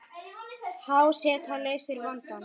Há seta leysir vandann